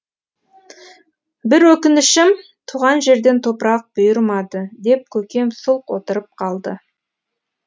бір өкінішім туған жерден топырақ бұйырмады деп көкем сұлқ отырып қалды